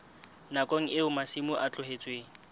nakong eo masimo a tlohetsweng